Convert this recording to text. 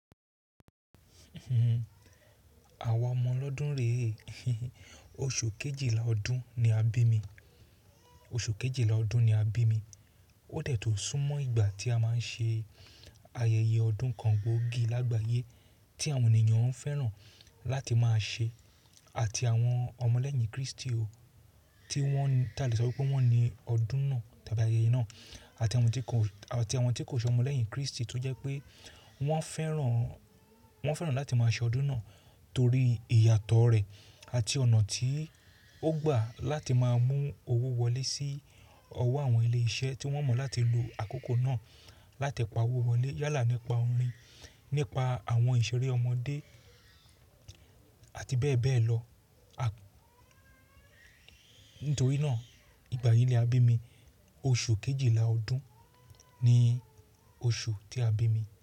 Àwa omọ ọlọ́dún rè é. Oṣù Kejìlá ọdún ni a bí mi. Oṣù Kejìlá ọdún ni a bí mi. Ó dẹ̀ tun sún mọ́ ìgbà tí a máa ń ṣe ayẹyẹ ọdún kan gbóògì lágbàyé tí àwọn ènìyàn ń fẹ́ràn láti máa ṣe àti àwọn ọmọlẹ́yìn Krístì o, tí wọ́n ta lè sọ wípé wọ́n ni ọdún náà tàbí ayẹyẹ náà àti àwọn tí kò, àti àwọn tí kò n ṣe ọmọlẹ́yìn Krístì tó jẹ́ pé wọ́n fẹ́ràn, wọ́n fẹ́ràn láti máa ṣe ọdún náà torí ìyàtọ̀ rẹ̀ àti ọ̀nà tí ó gbà láti máa mú owó wọlé sí ọwọ́ àwọn ilé iṣẹ́ tí wọ́n mọ̀ láti lo àkókò náà látipọ̀ owó wọlé yálà nípa orin, nípa àwọn ìṣeré ọmọdé àti bẹ́ẹ̀ bẹ́ẹ̀ lọ. À-- nítorí náà ìgbà yí ni a bí mi. Oṣù Kejìlá ọdún ni oṣù tí a bí mi.